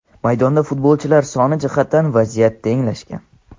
maydonda futbolchilar soni jihatdan vaziyat tenglashgan.